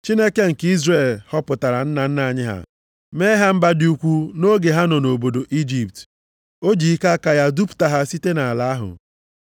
Chineke nke Izrel họpụtara nna nna anyị ha mee ha mba dị ukwu nʼoge ha nọ nʼobodo Ijipt. O ji ike aka ya dupụta ha site nʼala ahụ.